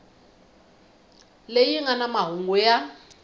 leyi nga na mahungu ya